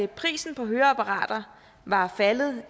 prisen på høreapparater var faldet